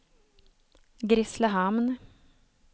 Grisslehamn